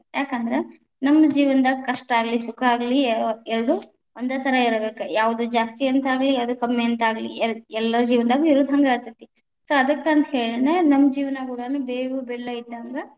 ಯಾಕಂದ್ರ ನಮ್ಮ ಜೀವನದಾಗ ಕಷ್ಟಆಗಲಿ ಸುಖ ಆಗಲಿ ಎರಡು ಒಂದೇ ಥರಾ ಇರಬೇಕಾ, ಯಾವುದು ಜಾಸ್ತಿ ಅಂತಾಗಲಿ ಯಾವುದು ಕಮ್ಮಿ ಅಂತಾಗಲಿ ಎ~ ಎಲ್ಲಾರ ಜೀವನದಾಗು ಇರೊದ ಹಂಗ ಆಕ್ಕೇತಿ so ಅದಕ್ಕ ಅಂತ ಹೇಳಿನ ನಮ್ಮ ಜೀವನಾಗುಡಾನು ಬೇವು ಬೆಲ್ಲ ಇದ್ದಂಗ.